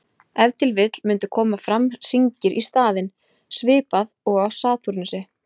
Ef til vill mundu koma fram hringir í staðinn, svipað og á Satúrnusi.